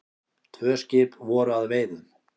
Tvö skip voru að veiðum.